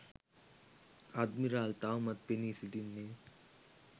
admiral තවමත් පෙනී සිටින්නේ